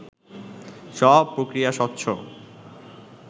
সব প্রক্রিয়া স্বচ্ছ